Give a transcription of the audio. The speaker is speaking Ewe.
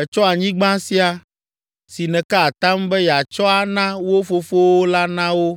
Ètsɔ anyigba sia, si nèka atam be yeatsɔ ana wo fofowo la na wo,